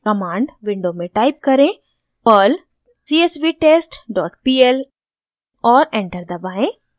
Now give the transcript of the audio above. command window में type करें: perl csvtestpl और एंटर दबाएं